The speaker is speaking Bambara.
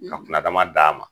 Ka kunna dama d'a ma.